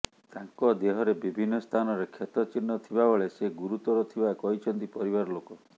ତାଙ୍କ ଦେହରେ ବିଭିନ୍ନ ସ୍ଥାନରେ କ୍ଷତ ଚିହ୍ନ ଥିବାବେଳେ ସେ ଗୁରୁତର ଥିବା କହିଛନ୍ତି ପରିବାର ଲୋକ